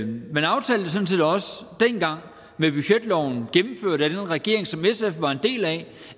man aftalte sådan set også dengang med budgetloven gennemført af den regering som sf var en del af